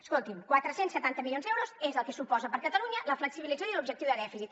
escolti’m quatre cents i setanta milions d’euros és el que suposa per a catalunya la flexibilització de l’objectiu de dèficit